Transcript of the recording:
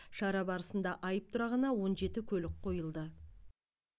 шара барысында айып тұрағына он жеті көлік қойылды